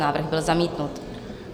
Návrh byl zamítnut.